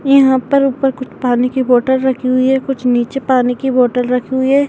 यहाँ पर ऊपर कुछ पानी की बॉटल रखी हुई है कुछ नीचे पानी की बॉटल रखी हुई हैं।